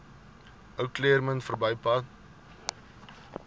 ou claremont verbypad